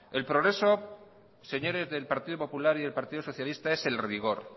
el progreso señores del partido popular y del partido socialista es el rigor